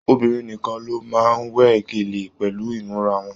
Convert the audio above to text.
Obìnrin nìkàn ló máa n we gélé pẹlú imura wọn.